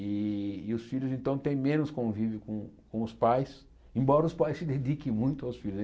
E e os filhos, então, têm menos convívio com com os pais, embora os pais se dediquem muito aos filhos.